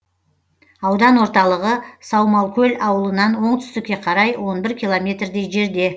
аудан орталығы саумалкөл ауылынан оңтүстікке қарай километрдей жерде